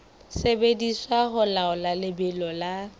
sebediswa ho laola lebelo la